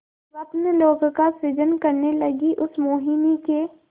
स्वप्नलोक का सृजन करने लगीउस मोहिनी के